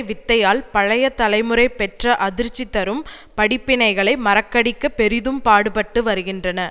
வித்தையால் பழைய தலைமுறை பெற்ற அதிர்ச்சி தரும் படிப்பினைகளை மறக்கடிக்க பெரிதும் பாடுபட்டு வருகின்றன